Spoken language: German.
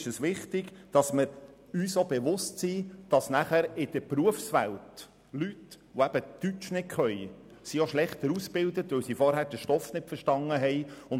Es ist mir wichtig, dass wir uns bewusst sind, dass Leute, die kein Deutsch sprechen, auch schlechter ausgebildet sind, weil sie zuvor den Schulstoff nicht verstanden haben.